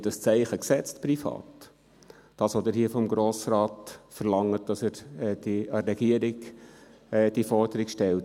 Haben Sie das Zeichen privat gesetzt, das Sie vom Grossen Rat verlangen, dass er der Regierung gegenüber diese Forderung stellt?